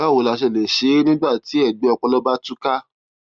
báwo la ṣe lè ṣe é nígbà tí ègbẹ ọpọlọ bá tú ká